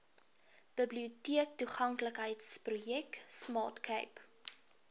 biblioteektoeganklikheidsprojek smart cape